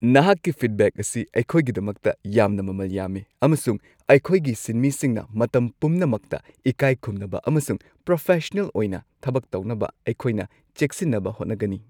ꯅꯍꯥꯛꯀꯤ ꯐꯤꯗꯕꯦꯛ ꯑꯁꯤ ꯑꯩꯈꯣꯏꯒꯤꯗꯃꯛꯇ ꯌꯥꯝꯅ ꯃꯃꯜ ꯌꯥꯝꯃꯤ, ꯑꯃꯁꯨꯡ ꯑꯩꯈꯣꯏꯒꯤ ꯁꯤꯟꯃꯤꯁꯤꯡꯅ ꯃꯇꯝ ꯄꯨꯝꯅꯃꯛꯇ ꯏꯀꯥꯏ ꯈꯨꯝꯅꯕ ꯑꯃꯁꯨꯡ ꯄ꯭ꯔꯣꯐꯦꯁꯁꯟꯅꯦꯜ ꯑꯣꯏꯅ ꯊꯕꯛ ꯇꯧꯅꯕ ꯑꯩꯈꯣꯏꯅ ꯆꯦꯛꯁꯤꯟꯅꯕ ꯍꯣꯠꯅꯒꯅꯤ ꯫